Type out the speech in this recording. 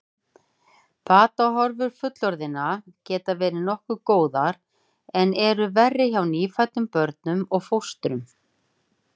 Batahorfur fullorðinna geta verið nokkuð góðar en eru verri hjá nýfæddum börnum og fóstrum.